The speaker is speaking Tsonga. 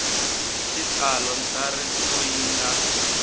hi xitalo ntsariso yi nga